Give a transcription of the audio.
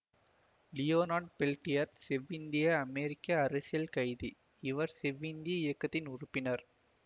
Leonard Peltier செவ்விந்திய அமெரிக்க அரசியல் கைதி இவர் செவ்விந்திய இயக்கத்தின் உறுப்பினர்